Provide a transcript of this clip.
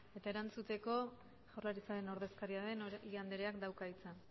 eta erantzuteko jaurlaritzaren ordezkaria den oregi andreak dauka hitza